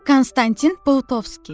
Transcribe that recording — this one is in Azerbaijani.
Konstantin Paustovski.